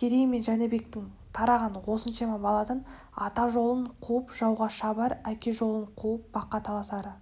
керей мен жәнібектен тараған осыншама баладан ата жолын қуып жауға шабар әке жолын қуып баққа таласары